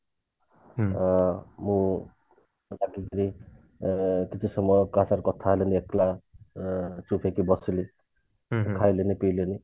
ଅ ମୁଁ ଅ କିଛି ସମୟ କାହା ସାଥିରେ କଥା ହେବିନି ଏକଲା ଉଁ ଚୁପ ହେଇକି ବସିଲି ଖାଇଲିନି ପିଇଲିନି